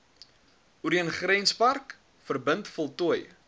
oorgrenspark verbind voltooi